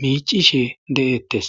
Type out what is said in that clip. miicishe de'ettes.